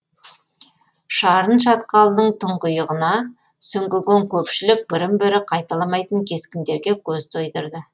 шарын шатқалының тұңғиығына сүңгіген көпшілік бірін бірі қайталамайтын кескіндерге көз тойдырды